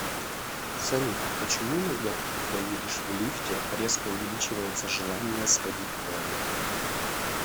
салют почему иногда когда едешь в лифте резко увеличивается желание сходить в туалет